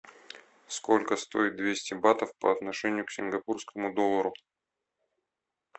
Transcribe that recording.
сколько стоит двести батов по отношению к сингапурскому доллару